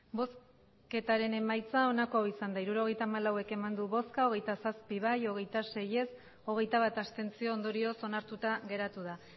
emandako botoak hirurogeita hamalau bai hogeita zazpi ez hogeita sei abstentzioak hogeita bat ondorioz onartuta geratu da